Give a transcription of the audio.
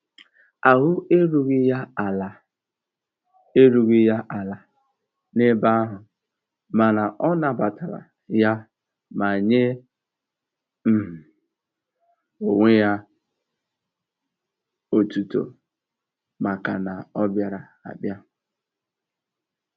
Ahụ erughị ya ala erughị ya ala n'ebe ahụ mana ọ nabatara ya ma nye um onwe ya otuto maka na ọ bịara abịa.